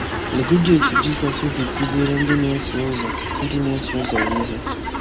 Legodị etu Jizọs si kụziere ndị na-eso ụzọ ndị na-eso ụzọ ya ihe.